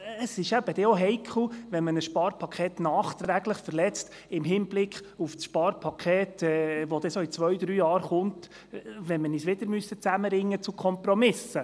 Ein Sparpaket nachträglich zu verletzen, ist auch heikel im Hinblick auf das Sparpaket, das in zwei, drei Jahren kommen wird, wenn wir uns wieder zu Kompromissen zusammenraufen müssen.